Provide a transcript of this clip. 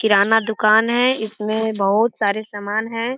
किराना दुकान है इसमें बहुत सारे समान हैं।